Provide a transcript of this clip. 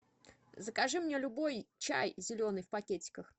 закажи мне любой чай зеленый в пакетиках